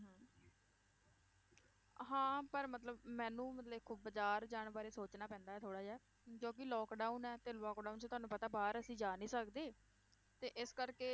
ਹਾਂ ਪਰ ਮਤਲਬ ਮੈਨੂੰ ਦੇਖੋ ਬਾਜ਼ਾਰ ਜਾਣ ਬਾਰੇ ਸੋਚਣਾ ਪੈਂਦਾ ਹੈ ਥੋੜ੍ਹਾ ਜਿਹਾ, ਕਿਉਂਕਿ lockdown ਹੈ ਤੇ lockdown 'ਚ ਤੁਹਾਨੂੰ ਪਤਾ ਬਾਹਰ ਅਸੀਂ ਜਾ ਨੀ ਸਕਦੇ, ਤੇ ਇਸ ਕਰਕੇ